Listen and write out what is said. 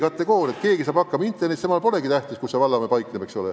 Kui keegi saab interneti kasutamisega hakkama, siis temale polegi tähtis, kus vallamaja paikneb, eks ole.